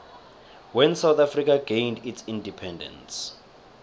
when south africa gained its independence